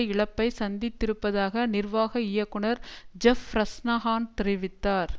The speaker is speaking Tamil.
இழப்பை சந்தித்திருப்பதாக நிர்வாக இயக்குநர் ஜெஃப் ப்ரஸ்னஹான் தெரிவித்தார்